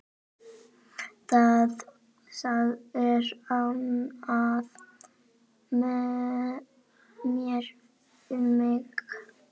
Það er annað með mig.